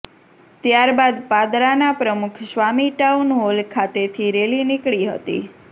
ત્યારબાદ પાદરાના Pramukh Swami town hall ખાતેથી રેલી નીકળી હતી